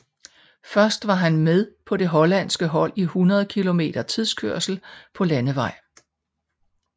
Først var han med på det hollandske hold i 100 km tidskørsel på landevej